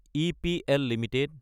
EPL Ltd